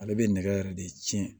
Ale bɛ nɛgɛ yɛrɛ de tiɲɛ